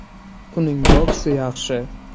Uning boksi yaxshi.